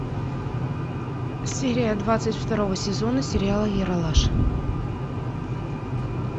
серия двадцать второго сезона сериала ералаш